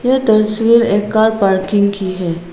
यह तस्वीर एक कार पार्किंग की है।